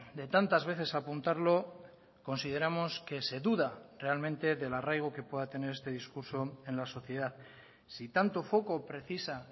de tantas veces apuntarlo consideramos que se duda realmente del arraigo que pueda tener este discurso en la sociedad si tanto foco precisa